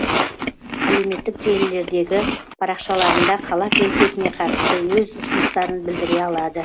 әлеуметтік желілердегі парақшаларында қала келбетіне қатысты өз ұсыныстарын білдіре алады